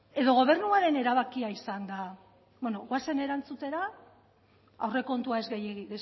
edo gobernuaren erabakia izan da bueno goazen erantzutera aurrekontua ez gehiegi